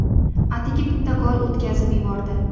atigi bitta gol o‘tkazib yubordi.